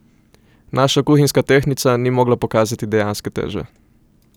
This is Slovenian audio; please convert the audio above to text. Naša kuhinjska tehtnica ni mogla pokazati dejanske teže.